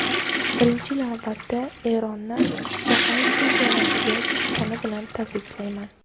Birinchi navbatda Eronni Jahon chempionatiga chiqqani bilan tabriklayman.